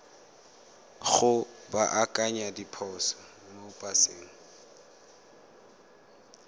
go baakanya diphoso mo paseng